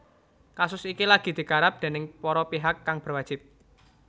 Kasus iki lagi digarap déning para pihak kang berwajib